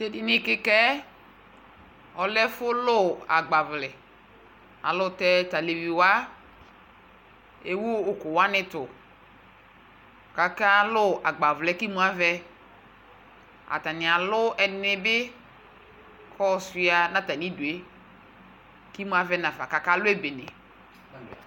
Tʋ edini kɩka yɛ, ɔlɛ ɛfʋ lʋ agbavlɛ Alʋ tɛ tʋ alevi wa ewu ʋkʋ wanɩ tʋ kʋ akalʋ agbawlɛ yɛ kʋ imi avɛ Atanɩ alʋ ɛdɩnɩ bɩ kʋ ayɔsʋɩa nʋ atamɩdu yɛ kʋ imu avɛ nafa kʋ akalʋ ebene